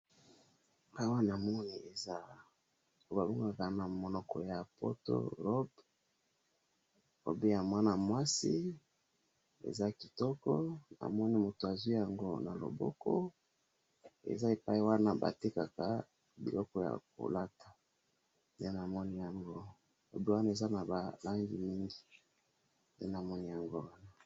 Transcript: Na moni robe ya mwana mwasi bazo talasi biso, emonani eza esika ya koteka bilamba ya bana basi.